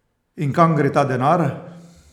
In kam gre ta denar?